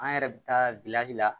An yɛrɛ bɛ taa la